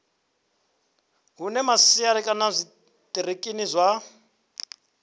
hune masia kana zwitiriki zwa